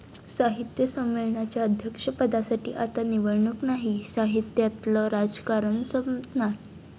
साहित्य संमेलनाच्या अध्यक्षपदासाठी आता निवडणूक नाही! साहित्यातलं राजकारण संपणार?